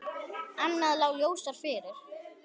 Annað lá ljósar fyrir.